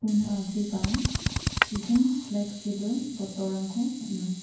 una agreba pijin pleksibil bottle-rangko man·a.